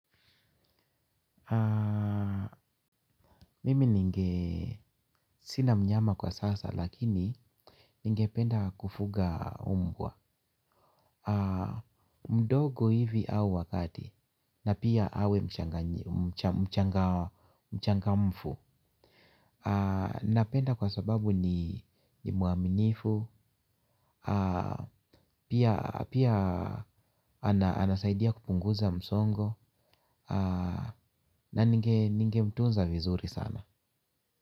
Mimi ninge sina mnyama kwa sasa lakini ningependa kufuga umbwa. Mdogo hivi au wa kati na pia awe mchangamfu. Napenda kwa sababu ni muaminifu pia anasaidia kupunguza msongo. Na ninge mtuunza vizuri sana.